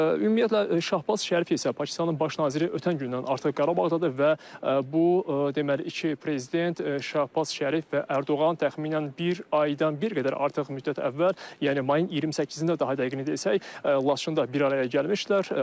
Ümumiyyətlə Şahbaz Şərif isə Pakistanın baş naziri ötən gündən artıq Qarabağdadır və bu deməli iki prezident Şahbaz Şərif və Ərdoğan təxminən bir aydan bir qədər artıq müddət əvvəl, yəni mayın 28-də daha dəqiq desək, Laçında bir araya gəlmişdilər.